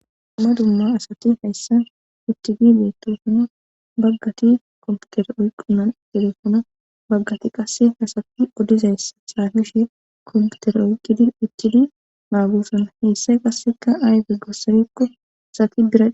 Dumma dumma asati hayssan ichidi beettosana baggati komputere oyqqunan telefona baggati qasse hasati odizayssa xaafishe komputere oyqqidi icidi maagosana heyssay qasseka ayfe gossarekko asati bira